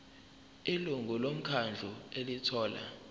ilungu lomkhandlu elithola